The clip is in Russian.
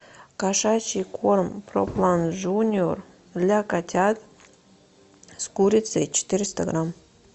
кошачий корм про план джуниор для котят с курицей четыреста грамм